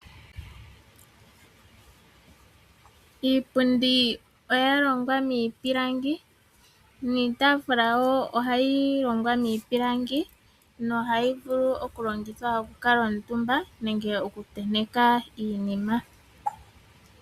Iipundi oya longwa miipilangi niitaafula oya longwa miipilangi nohayi vulu okulongithwa oku kuutumbwa nenge okutentekwa iinima.